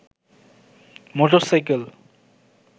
motorcycle